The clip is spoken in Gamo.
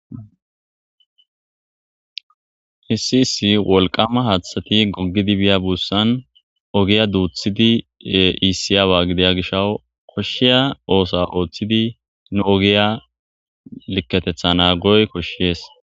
issi isi wolqama haathathati goggidi biya buussan ogiya duuthidi iisiyaawa gideya gishaw koshshiya oosa ooththidi nu ogiya likketetha naa goy koshshees